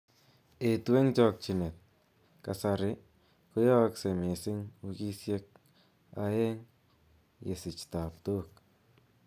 Eetu en chokyinet. Kasari koyookse miising wikisiek aeng yesich tabtook